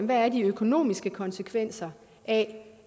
hvad de økonomiske konsekvenser af